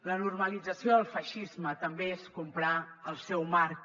la normalització del feixisme també és comprar el seu marc